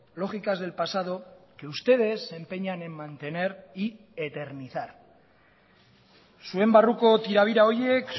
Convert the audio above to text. lógicas del pasado que ustedes se empeñan en mantener y eternizar zuen barruko tirabira horiek